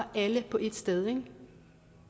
alle på et sted ikke